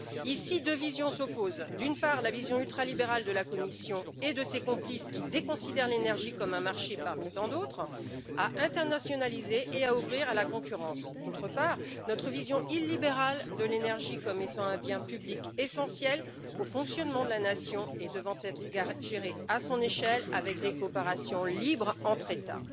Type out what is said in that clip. Ici, deux visions s'opposent d'une part, la vision ultralibérale de la Commission et de ses complices qui déconsidèrent l'énergie comme un marché parmi tant d'autres à internationaliser et à ouvrir à la concurrence d'autre part, notre vision illibérale de l'énergie comme étant un bien public essentiel au fonctionnement de la nation et devant être géré à son échelle, avec des coopérations libres entre États.